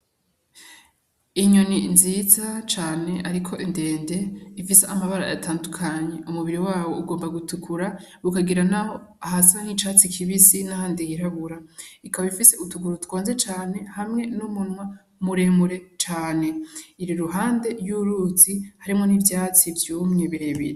Inyoni nziza cane ariko ndende ifise amabara atandukanye, umubiri wayo ugomba gutukura , ukagira ahasa n'icatsi kibisi n'ahandi hirabura, ikaba ifise utuguru twonze cane hamwe n'umunwa muremure cane. Iri iruhande y'uruzi harimwo n'ivyatsi vyumye birebire.